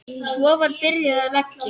Svo var byrjað að leggja.